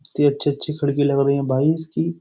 कितने अच्छे-अच्छे खिड़की लग रही है।